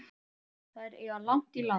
Þær eiga langt í land.